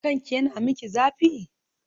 Kanki yana miki zafi?